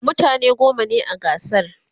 mutane goma ne a gasar